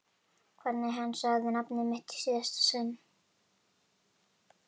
Hvernig hann sagði nafnið mitt í síðasta sinn.